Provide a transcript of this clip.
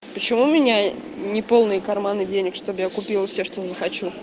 почему меня не полные карманы денег чтоб я купила себе что захочу